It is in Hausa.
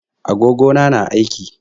Agogo na na aiki.